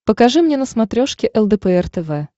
покажи мне на смотрешке лдпр тв